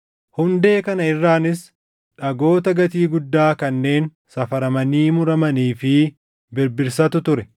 Hundee kana irraanis dhagoota gatii guddaa kanneen safaramanii murmuramanii fi birbirsatu ture.